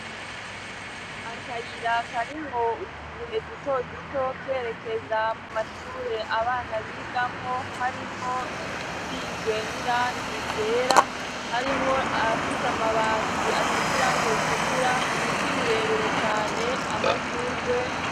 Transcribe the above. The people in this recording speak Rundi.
Akayiraka ari mwo utuye dutoduto kerekeza mu mashure abana bigamwo harimwo izisizwe n'irangi yera harimwo afise amabati asize irangi ritukura ibiti birebire cane amashurwe.